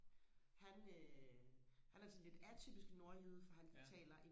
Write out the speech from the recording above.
han øh han er sådan lidt atypisk nordjyde for han taler